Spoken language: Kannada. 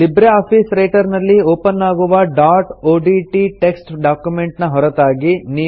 ಲಿಬ್ರೆ ಆಫೀಸ್ ರೈಟರ್ ನಲ್ಲಿ ಒಪನ್ ಆಗುವ ಡಾಟ್ ಒಡಿಟಿ ಟೆಕ್ಸ್ಟ್ ಡಾಕ್ಯುಮೆಂಟ್ ನ ಹೊರತಾಗಿ